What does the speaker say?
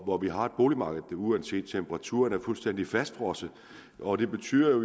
hvor vi har et boligmarked der uanset temperaturen er fuldstændig fastfrosset og det betyder jo